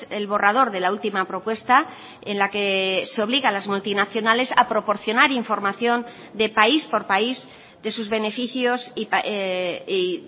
el borrador de la última propuesta en la que se obliga a las multinacionales a proporcionar información de país por país de sus beneficios y